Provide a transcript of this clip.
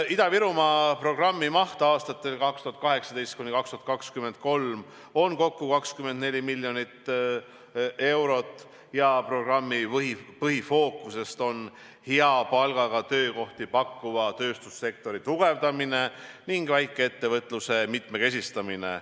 Ida-Virumaa programmi maht aastatel 2018–2023 on kokku 24 miljonit eurot ja programmi põhifookuses on hea palgaga töökohti pakkuva tööstussektori tugevdamine ning väikeettevõtluse mitmekesistamine.